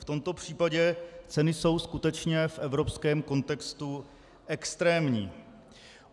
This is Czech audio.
V tomto případě ceny jsou skutečně v evropském kontextu extrémní.